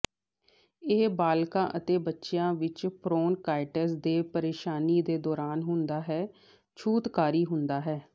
ਇਹ ਬਾਲਗ਼ਾਂ ਅਤੇ ਬੱਚਿਆਂ ਵਿੱਚ ਬ੍ਰੌਨਕਾਈਟਿਸ ਦੇ ਪ੍ਰੇਸ਼ਾਨੀ ਦੇ ਦੌਰਾਨ ਹੁੰਦਾ ਹੈ ਛੂਤਕਾਰੀ ਹੁੰਦਾ ਹੈ